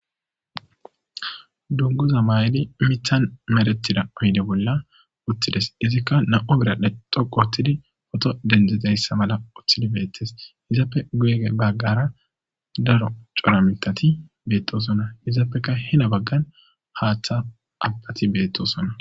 Dunguza mayli mithan meretida oyide bolla uttides izikka na7o biradhdhe xoqo otidi poto dendzidayssa mala uththidi beettes hizappe geege baggara daro cora mitati beettosona hizaappeka hina baggan haaththa abbati beettosona